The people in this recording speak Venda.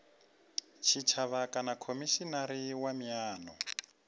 tshitshavha kana khomishinari wa miano